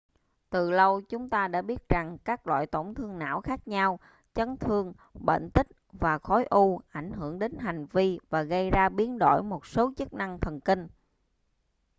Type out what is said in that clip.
từ lâu chúng ta đã biết rằng các loại tổn thương não khác nhau chấn thương bệnh tích và khối u ảnh hưởng đến hành vi và gây ra biến đổi một số chức năng thần kinh